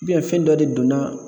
fɛn dɔ de donna